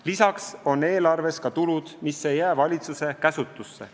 Lisaks on eelarves ka tulud, mis ei jää valitsuse käsutusse.